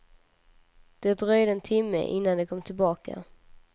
Det dröjde en timme innan de kom tillbaka.